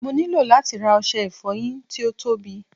mo ni lati ra ọsẹ ìfoyin ti o tobi